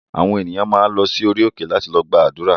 Àwọn ènìyàn máa ń lọ sí orí òkè láti lọ gbàdúrà